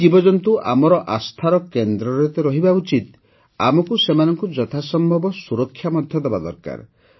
ଏହି ଜୀବଜନ୍ତୁ ଆମର ଆସ୍ଥାର କେନ୍ଦ୍ରରେ ତ ରହିବା ଉଚିତ ଆମକୁ ସେମାନଙ୍କୁ ଯଥାସମ୍ଭବ ସୁରକ୍ଷା ମଧ୍ୟ ଦେବା ଦରକାର